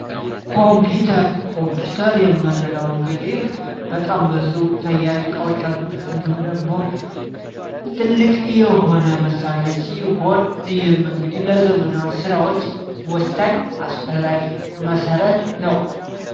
ኮምፒውተር ኮምፒውተር የምንለው እንግዲህ በጣም ብዙ ተያያዥ እቃዎች ያሉበት እንዲሁም ደግሞ ትልቅ የሆነ መሳሪያ ሲሆን ይህም እንግዲህ ለዘመናዊ ስራዎች ወሳኝ ፣አስፈላጊ ፣መሰረት ነው።